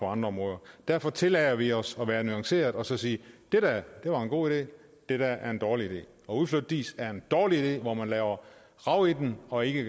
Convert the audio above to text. andre områder derfor tillader vi os at være nuancerede og sige det der er en god idé det der er en dårlig idé at udflytte diis er en dårlig idé hvor man laver rav i den og ikke